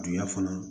Duya fana